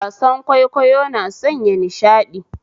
Wasan kwaikwayo na sanya nishadi